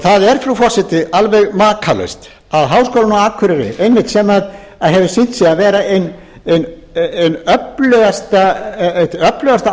það er frú forseti alveg makalaust að háskólinn á akureyri sem hefur sýnt sig vera eitt öflugasta átak í rannsóknar og menntunarstarfi og í